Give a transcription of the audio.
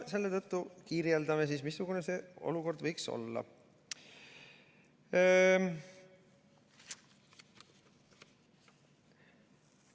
Selle tõttu kirjeldame, missugune see olukord võiks olla.